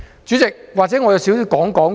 主席，或許我簡單說說。